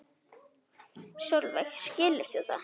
Sólveig: Skilur þú það?